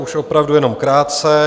Už opravdu jenom krátce.